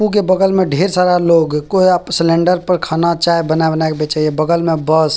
उ के बगल में ढेर सारा लोग कोई अप सिलेंडर पर खाना चाय बना-बना के बेचेय बगल में बस --